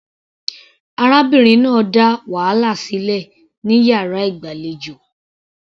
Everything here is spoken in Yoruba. Arábìnrin náà dá wàhálà sílẹ̀ ní yàrá ìgbàlejò.